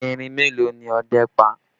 Erin mélòó ni ọdẹ́ pa?